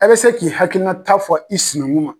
Ɛ bɛ se k'i hakilinata fɔ i siniŋun ma